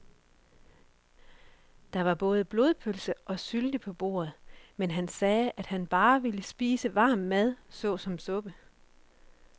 Der var både blodpølse og sylte på bordet, men han sagde, at han bare ville spise varm mad såsom suppe.